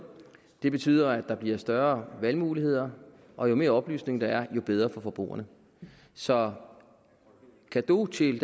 det betyder at der bliver større valgmuligheder og jo mere oplysning der er jo bedre for forbrugerne så cadeau til